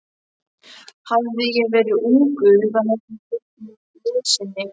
Hefði ég verið ungur, þá hefði ég veitt mitt liðsinni.